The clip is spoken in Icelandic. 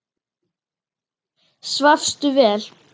Svafstu vel?